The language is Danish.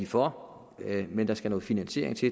for men der skal noget finansiering til